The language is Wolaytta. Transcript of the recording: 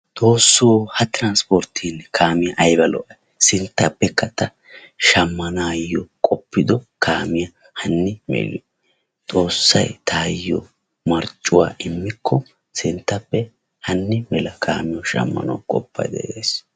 Xoosso ha tiranispportteenne kaame ayba lo'ayi sinttappekka ta shammanaayyo qoppido. kaamiya hanni maliyo. Xoossay tayo marccuwa immikko sinttappe hanni mala kaamiyonshammanawu qoppayis.